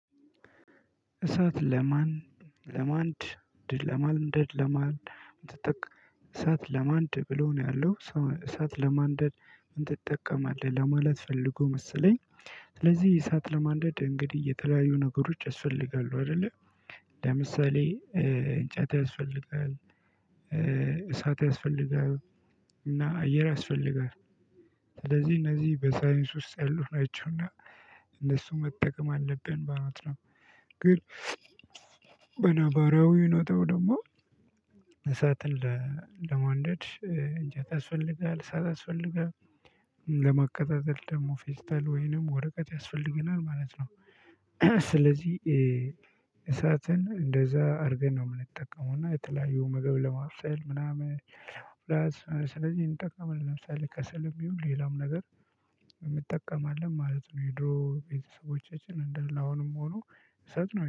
እሳት ለማን ለማንድ ለማንደድ ለማን ትጠቀ እሳት ለማንድ ብሎ ነው ያለው እሳት ለማንደድ ምን ትጠቀማለህ ለማለት ፈልጎ መሰለኝ። ስለዚህ እሳት ለማንደድ እንግዲህ የተለያዩ ነገሮች ያስፈልጋሉ አይደለ። ለምሳሌ እንጨት ያስፈልጋል። እሳት ያስፈልጋል። እና አየር ያስፈልጋል። ስለዚህ እነዚህ በሳይንስ ውስጥ ያሉት ናቸውና እነሱ መጠቀም አለብን ማለት ነው። ግን በነባራዊ ኖታው ደግሞ እሳትን ለማንደድ እንጨት ያስፈልጋል እሳት ያስፈልጋል። ለመቀጣጠል ደግሞ ፌስተር ወይንም ወረቀት ያስፈልገናል ማለት ነው። ስለዚህ እሳትን እንደዛ አድርገን ነው የምንጠቀመው እና የተለያዩ ምግብ ለማስፈር ምናምን። ስለዚህ እንጠቀም ለምሳሌ ከሰልም ይሁን ሌላም ነገር እንጠቀም ማለት ነው። የድሮ ቤተሰቦቻችን እንዳሌ አሁንም ሆኖ እሰጥነው